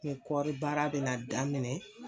Ni kɔɔri baara bɛna daminɛ